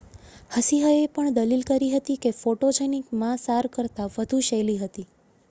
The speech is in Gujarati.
હસિહએ પણ દલીલ કરી હતી કે ફોટોજેનિક મા સાર કરતાં વધુ શૈલી હતી